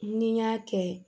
Ni n y'a kɛ